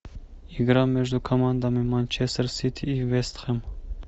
игра между командами манчестер сити и вест хэм